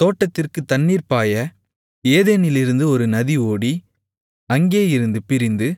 தோட்டத்திற்குத் தண்ணீர் பாய ஏதேனிலிருந்து ஒரு நதி ஓடி அங்கேயிருந்து பிரிந்து